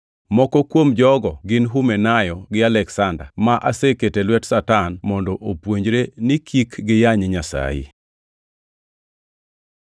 Moko kuom jogo gin Humenayo gi Aleksanda, ma aseketo e lwet Satan mondo opuonjre ni kik giyany Nyasaye.